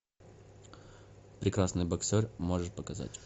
прекрасный боксер можешь показать